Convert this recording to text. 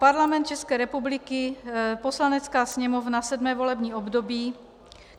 Parlament České republiky, Poslanecká sněmovna, sedmé volební období.